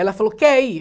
Ela falou, quer ir?